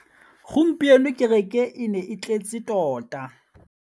Gompieno kêrêkê e ne e tletse tota.